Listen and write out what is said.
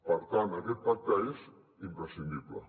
per tant aquest pacte és imprescindible